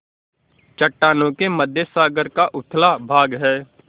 चट्टानों के मध्य सागर का उथला भाग है